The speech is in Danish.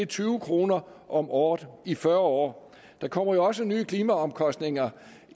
tyve kroner om året i fyrre år der kommer jo også nye klimaomkostninger